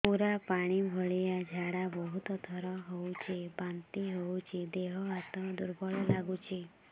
ପୁରା ପାଣି ଭଳିଆ ଝାଡା ବହୁତ ଥର ହଉଛି ବାନ୍ତି ହଉଚି ଦେହ ହାତ ଦୁର୍ବଳ ଲାଗୁଚି